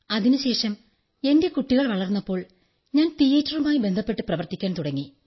അതിനുശേഷം എന്റെ കുട്ടികൾ വളർന്നപ്പോൾ ഞാൻ തീയേറ്ററുമായി ബന്ധപ്പെട്ട് പ്രവർത്തിക്കാൻ തുടങ്ങി